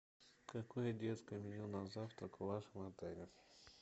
какое детское меню на завтрак в вашем отеле